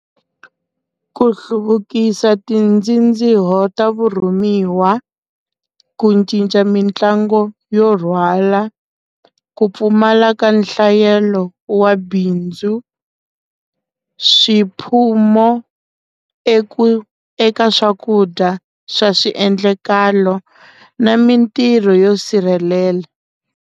Ku hluvukisa tindzindziho ta vurhumiwa ku ncinca mitlangu yo rhwala ku pfumala ka nhlayelo wa bindzu swiphumo eku eka swakudya swa swiendlakalo na mintirho yo sirhelela.